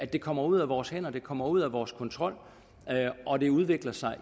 det kommer ud af vores hænder det kommer ud af vores kontrol og det udvikler sig